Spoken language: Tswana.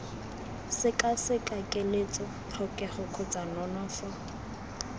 sekaseka keletso tlhokego kgotsa nonofo